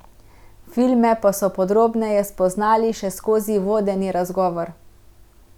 Filme pa so podrobneje spoznali še skozi vodeni razgovor.